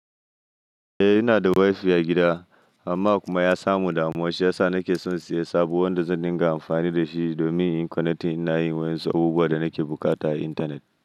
Eh ina da wifi a gida amma kuma ya samu damuwa shiyasa nake son siyan sabon wanda zan dinga amfani dashi domin in connecting ina yin wasu abubuwan da nake bukata a intanet.